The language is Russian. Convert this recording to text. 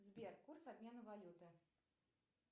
сбер курс обмена валюты